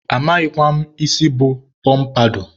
amaghịkwa m isi bụ pọmpadọ